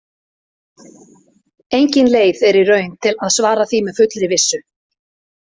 Engin leið er í raun að svara því með fullri vissu.